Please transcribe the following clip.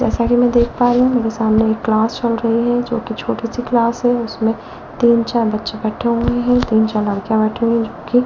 जैसा कि मैं देख पा रहे हैं मेरे सामने एक क्लास चल रही है जो कि छोटी सी क्लास है उसमें तीन चार बच्चे बैठे हुए हैं तीन चार लड़कियां बैठी हुई --